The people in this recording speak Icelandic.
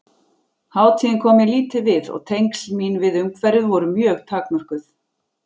Hátíðin kom mér lítið við og tengsl mín við umhverfið voru mjög takmörkuð.